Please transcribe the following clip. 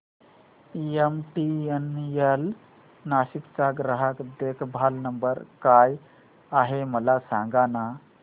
MTNL Nashik चा ग्राहक देखभाल नंबर काय आहे मला सांगाना